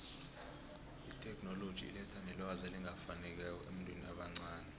itheknoloji iletha nelwazi elingafinekiko ebantwini abancani